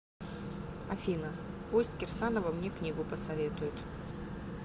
афина пусть кирсанова мне книгу посоветует